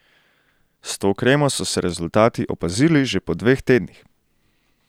S to kremo so se rezultati opazili že po dveh tednih!